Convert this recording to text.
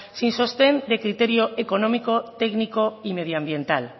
sin sostén de criterio económico técnico y medioambiental